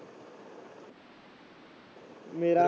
ਮੇਰਾ